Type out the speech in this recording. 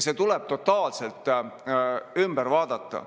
See tuleb totaalselt ümber vaadata.